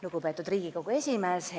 Lugupeetud Riigikogu esimees!